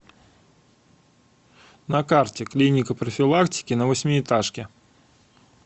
на карте клиника профилактики на восьмиэтажке